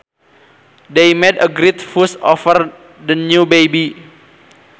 They made a great fuss over the new baby